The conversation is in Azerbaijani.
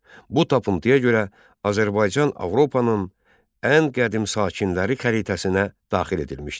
Bu tapıntıya görə Azərbaycan Avropanın ən qədim sakinləri xəritəsinə daxil edilmişdir.